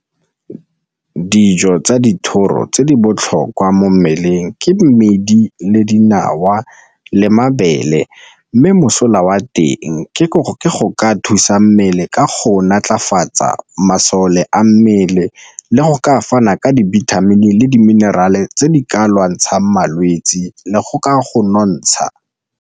Dijo tsa dithoro tse di botlhokwa mo mmeleng ke mmidi le dinawa le mabele, mme mosola wa teng ke go ka thusa sa mmele ka go naatlafatsa masole a mmele le go ka fana ka dibithamini le di mineral e tse di ka lwantshang malwetsi le go ka go nontsha.